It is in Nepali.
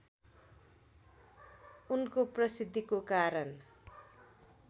उनको प्रसिद्धिको कारण